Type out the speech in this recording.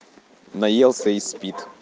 наелся и спит